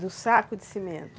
Do saco de cimento?